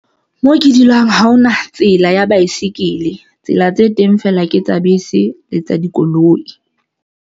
Moo ke dulang ha hona tsela ya baesekele tsela tse teng feela, ke tsa bese le tsa dikoloi.